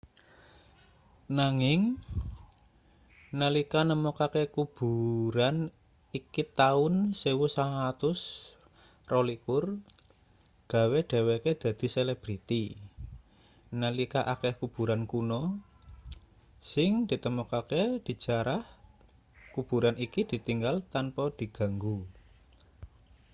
nanging nalika nemokake kuburan iki taun 1922 gawe dheweke dadi selebriti nalika akeh kuburan kuna sing ditemokake dijarah kuburan iki ditinggal tanpa diganggu